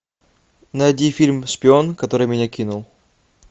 найди фильм шпион который меня кинул